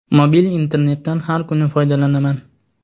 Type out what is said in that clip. Mobil internetdan har kuni foydalanaman.